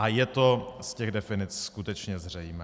A je to z těch definic skutečně zřejmé.